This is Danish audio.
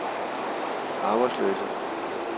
arbejdsløse